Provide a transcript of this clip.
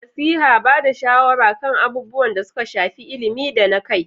Nasiha: Ba da shawara kan abubuwan da suka shafi ilimi da na kai.